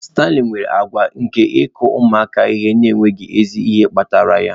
Stanley nwere àgwà nke ịkụ ụmụaka ihe n'enweghị ezi ihe kpatara ya